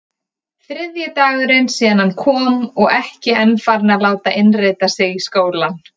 Þriðji dagurinn síðan hann kom og ekki enn farinn að láta innrita sig í skólann.